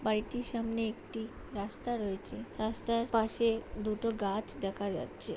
বাড়িটির সামনে একটি রাস্তা রয়েছে রাস্তার পাশে দুটো গাছ দেখা যাচ্ছে।